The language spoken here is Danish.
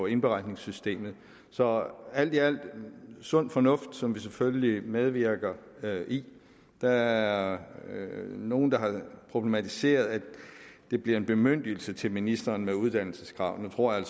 indberetningssystemet så alt i alt sund fornuft som vi selvfølgelig medvirker i der er nogle der har problematiseret at det bliver en bemyndigelse til ministeren med uddannelseskrav nu tror jeg